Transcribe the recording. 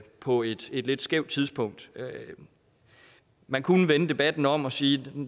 på et lidt skævt tidspunkt man kunne vende debatten om og sige